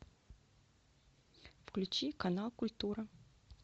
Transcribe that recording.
включи канал культура